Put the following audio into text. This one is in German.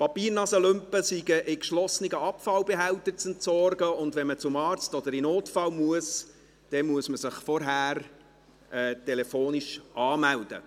Papiertaschentücher sind in geschlossenen Abfallbehältnissen zu entsorgen, und wenn man zum Arzt oder auf den Notfall muss, muss man sich vorher telefonisch anmelden.